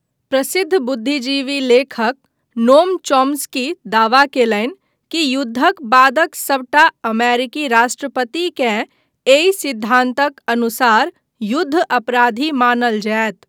प्रसिद्ध बुद्धिजीवी लेखक, नोम चॉम्स्की दावा कयलनि कि युद्धक बादक सभटा अमेरिकी राष्ट्रपतिकेँ एहि सिद्धान्तक अनुसार युद्ध अपराधी मानल जायत।